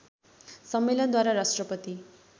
सम्मेलन द्वारा राष्ट्रपति